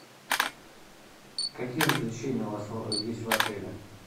какие развлечения у вас есть в отеле